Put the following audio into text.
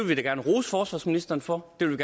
vi da gerne rose forsvarsministeren for det vil